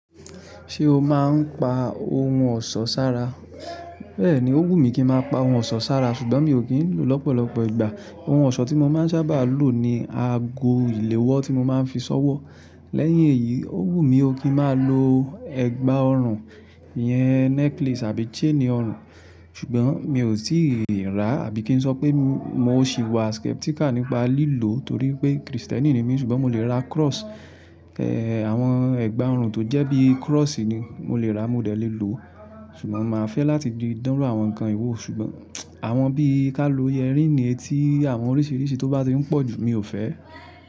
Ṣé o máa ń pa ohun ọ̀ṣọ́ sára? Bẹ́ẹ̀ni, ó wù mí kí ń má pa ohun ọ̀ṣọ́ sára, ṣùgbọ́n mi ò kí ń lò lọ́pọ̀lọpọ̀ ìgbà. Ohun ọ̀ṣọ́ tí mo má ń sábà lò ni ago ìléwọ́ tí mo má ń fi ṣọ́wọ́. Lẹ́yìn èyí, ó wù mí ó kí ń má lò ẹ̀gbá ọrùn yẹn necklace àbí chain ọrùn. Ṣùgbọ́n mi ò tíì rà àbí kí n sọ pé mo sì wà skeptical nípa lílò torí pé Kristẹni ni mí ṣùgbọ́n mo lè ra cross. Àwọn ẹ̀gbá ọrùn tó jẹ́ bí cross ni mo lè rà mo dẹ̀ lé lò. Ṣùgbọ́n màá fẹ́ láti di dánru àwọn nǹkan yi wò, ṣùgbọ́n àwọn bí ká ló ẹarring etí àwọn oríṣiríṣi tó bá ti ń pọ̀ jù, mi ò fẹ́.